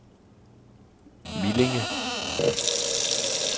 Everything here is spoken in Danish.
Millinge